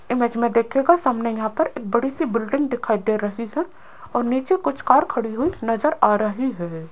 Image में देखिएगा सामने यहां पर एक बड़ी सी बिल्डिंग दिखाई दे रही है और नीचे कुछ कार खड़ी हुई नजर आ रही है।